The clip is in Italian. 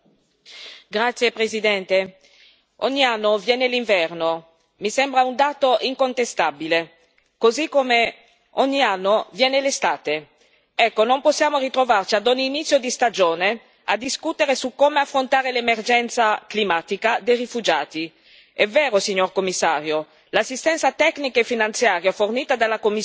Signor Presidente, onorevoli colleghi, ogni anno viene l'inverno mi sembra un dato incontestabile così come ogni anno viene l'estate. Ecco, non possiamo ritrovarci a ogni inizio di stagione a discutere su come affrontare l'emergenza climatica dei rifugiati. È vero, signor Commissario, che l'assistenza tecnica e finanziaria fornita dalla Commissione